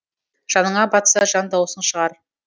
жаныңа батса жан даусың шығар